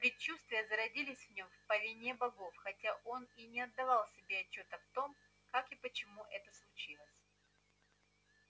предчувствие зародилось в нём по вине богов хотя он и не отдавал себе отчёта в том как и почему это случилось